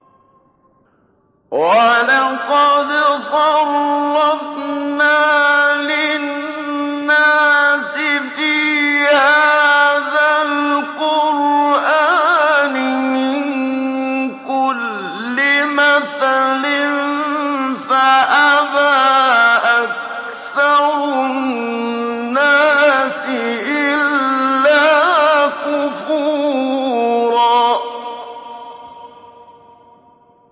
وَلَقَدْ صَرَّفْنَا لِلنَّاسِ فِي هَٰذَا الْقُرْآنِ مِن كُلِّ مَثَلٍ فَأَبَىٰ أَكْثَرُ النَّاسِ إِلَّا كُفُورًا